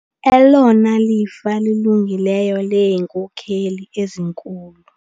Elona lifa lilungileyo leenkokheli ezinkulu.